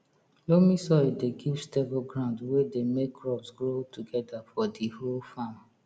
loamy soil dey give stable ground we dey make crops grow togeda for di whole farm